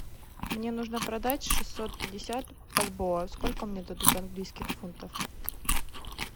мне нужно продать шестьсот пятьдесят бальбоа сколько мне дадут английских фунтов